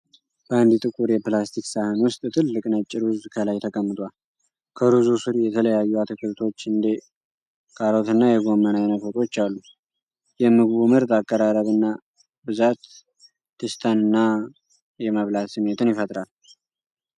በአንድ ጥቁር የፕላስቲክ ሳህን ውስጥ ትልቅ ነጭ ሩዝ ከላይ ተቀምጧል። ከሩዙ ስር የተለያዩ አትክልቶች እንደ ካሮትና የጎመን አይነት ወጦች አሉ። የምግቡ ምርጥ አቀራረብና ብዛት ደስታንና የመብላት ስሜትን ይፈጥራል።